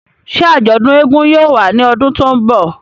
Ṣe ajọdun éégún yóò wa ni ọdun to nbọ?